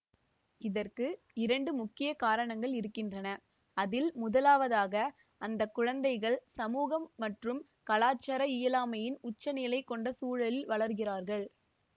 இதற்கு இரண்டு முக்கிய காரணங்கள் இருக்கின்றன அதில் முதலாவதாக அந்த குழந்தைகள் சமூகம் மற்றும் கலாச்சார இயலாமையின் உச்ச நிலை கொண்ட சூழலில் வளர்கிறார்கள்